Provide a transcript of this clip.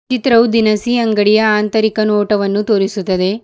ಚಿತ್ರವು ದಿನಸಿ ಅಂಗಡಿಯ ಆಂತರಿಕ ನೋಟವನ್ನು ತೋರಿಸುತ್ತದೆ.